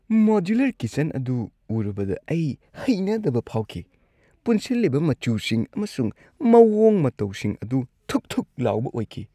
Modular kitchen ꯑꯗꯨ ꯎꯔꯨꯕꯗ ꯑꯩ ꯍꯩꯅꯗꯕ ꯐꯥꯎꯈꯤ ꯫ ꯄꯨꯟꯁꯤꯟꯂꯤꯕ ꯃꯆꯨꯁꯤꯡ ꯑꯃꯁꯨꯡ ꯃꯑꯣꯡ-ꯃꯇꯧꯁꯤꯡ ꯑꯗꯨ ꯊꯨꯛ ꯊꯨꯛ ꯂꯥꯎꯕ ꯑꯣꯏꯈꯤ ꯫